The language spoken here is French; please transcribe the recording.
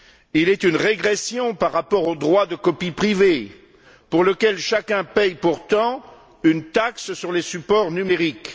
Il est une régression par rapport au droit de copie privée pour lequel chacun paie pourtant une taxe sur les supports numériques.